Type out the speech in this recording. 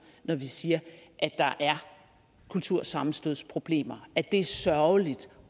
når vi siger at der er kultursammenstødsproblemer at det er sørgeligt